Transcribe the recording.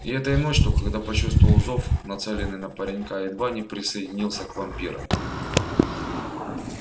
и этой ночью когда почувствовал зов нацеленный на паренька едва не присоединился к вампирам